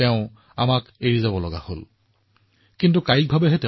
তেওঁ আমাক এৰি গৈছিল কিন্তু কেৱল শৰীৰৰ পৰা